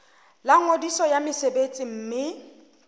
la ngodiso ya mosebetsi mme